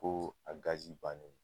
Ko a bannen don